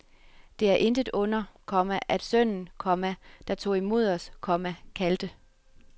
Det er intet under, komma at sønnen, komma der tog imod os, komma kaldte